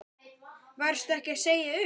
Varstu ekki að segja upp?